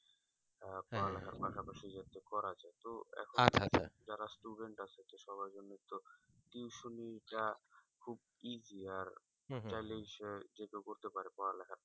পড়ালেখার পাশাপাশি করা যায় যারা student আছে সবার জন্য তো tuition টা খুব easy আর চাই লেই সে তো করতে পারে